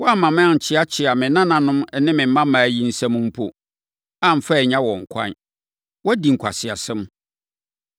Woamma mankyeakyea me nananom ne me mmammaa yi nsam mpo, amfa annya wɔn kwan. Woadi nkwaseasɛm.